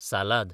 सालाद